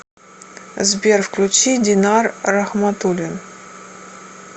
сбер включи динар рахматулин